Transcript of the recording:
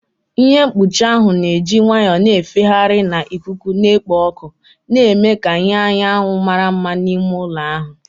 Ihe mkpuchi ahụ na-eji nwayọọ na-efegharị na ikuku na-ekpo ọkụ, na-eme ka ìhè anyanwụ mara mma n'ime ụlọ ahụ.